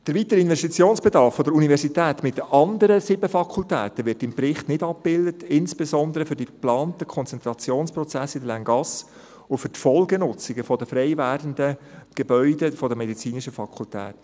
Der weitere Investitionsbedarf der Universität mit den anderen sieben Fakultäten wird im Bericht nicht abgebildet, insbesondere für die geplanten Konzentrationsprozesse in der Länggasse und für die Folgenutzungen der freiwerdenden Gebäude der medizinischen Fakultät.